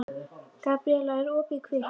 Gabríella, er opið í Kvikk?